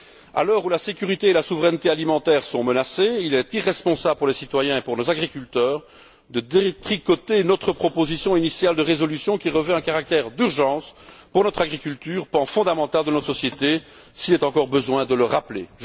À l'heure où la sécurité et la souveraineté alimentaires sont menacées, il est irresponsable vis à vis des citoyens et de nos agriculteurs de détricoter notre proposition initiale de résolution, qui revêt un caractère d'urgence pour notre agriculture, pan fondamental de notre société, s'il est encore besoin de le rappeler.